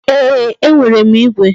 Ee, e nwere m igwe